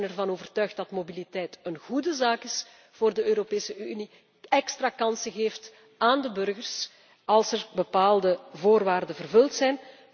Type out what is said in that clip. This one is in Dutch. Wij zijn ervan overtuigd dat mobiliteit een goede zaak is voor de Europese Unie, extra kansen geeft aan de burgers als er bepaalde voorwaarden vervuld